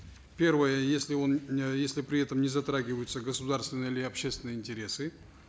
первое если он э если при этом не затрагиваются государственные или общественные интересы